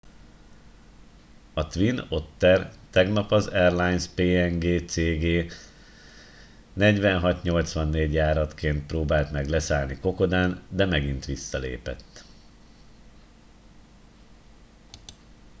a twin otter tegnap az airlines png cg 4684 járataként próbált meg leszállni kokodán de megint visszalépett